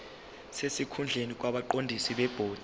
sesikhundleni kwabaqondisi bebhodi